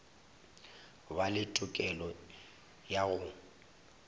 ba le tokelo ya go